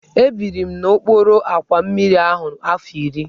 Ebiri m n'okpuru àkwà mmiri ahụ afọ iri.